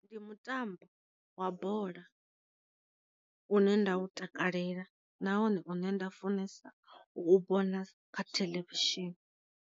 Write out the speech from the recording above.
Ndi mutambo wa bola, une nda u takalela nahone une nda u funesa u vhona kha theḽevishini.